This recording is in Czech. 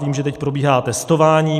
Vím, že teď probíhá testování.